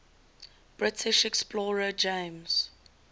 british explorer james